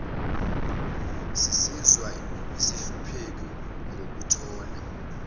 sizizwa sihloniphekile ngokuthola